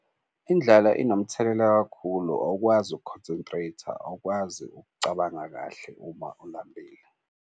Indlala inomthelela kakhulu awukwazi uku-concentrate-a, awukwazi ukucabanga kahle uma ulambile.